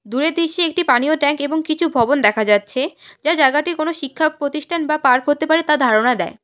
দূরের দৃশ্যে একটি পানীয় ট্যাঙ্ক এবং কিছু ভবন দেখা যাচ্ছে যা জায়গাটি কোন শিক্ষা প্রতিষ্ঠান বা পার্ক হতে পারে তা ধারণা দেয়।